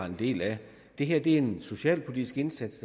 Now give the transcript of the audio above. en del af det her er en socialpolitisk indsats